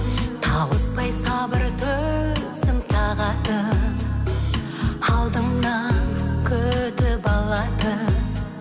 тауыспай сабыр төзім тағатын алдыңнан күтіп алатын